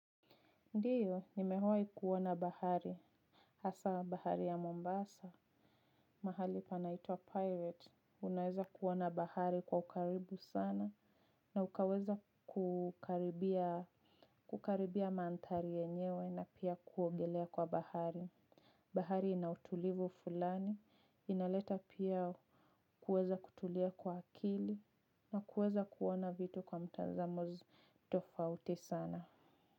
Ndiyo, nimewahi kuona bahari. Hasa bahari ya Mombasa, mahali panaitwa Pirate, unaweza kuona bahari kwa ukaribu sana. Na ukaweza kukaribia mandhari yenyewe na pia kuogelea kwa bahari. Bahari ina utulivu fulani, inaleta pia kuweza kutulia kwa akili, na kuweza kuona vitu kwa mtazamo tofauti sana.